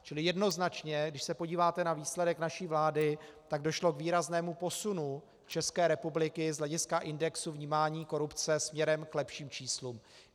Čili jednoznačně když se podíváte na výsledek naší vlády, tak došlo k výraznému posunu České republiky z hlediska indexu vnímání korupce směrem k lepším číslům.